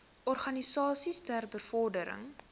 organisasies ter bevordering